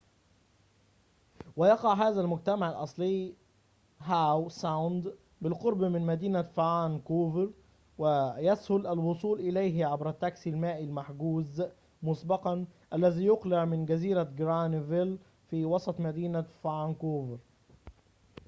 ويقع هذا المجتمع الأصلى فى هاو ساوند بالقرب من مدينة فانكوفر ويسهل الوصول إليه عبر التاكسى المائى المحجوز مسبقًا الذي يُقلع من جزيرة جرانفيل فى وسط مدينة فانكوفر